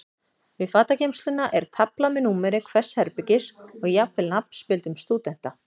Við fatageymsluna er tafla með númeri hvers herbergis og jafnvel nafnspjöldum stúdenta.